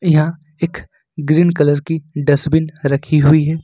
यहां एक green colour की डसबिन रखी हुई है।